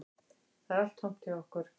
Það er allt tómt hjá okkur